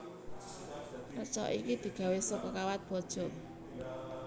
Reca iki digawé saka kawat waja